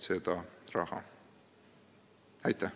Aitäh!